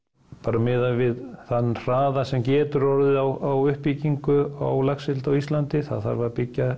miðað við þann hraða sem getur orðið á uppbyggingu á laxeldi á Íslandi það þarf að byggja